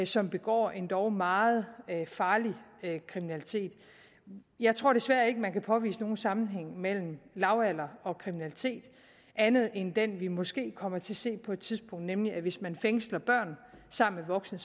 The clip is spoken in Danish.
som begår endog meget farlig kriminalitet jeg tror desværre ikke man kan påvise nogen sammenhæng mellem lavalder og kriminalitet andet end den vi måske kommer til at se på et tidspunkt nemlig at hvis man fængsler børn sammen med voksne